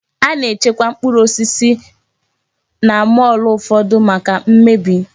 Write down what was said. Ana-echekwa mkpụrụ osisi na mọọlụ ụfọdụ maka m mmebi.